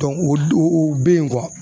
o don u bɛ yen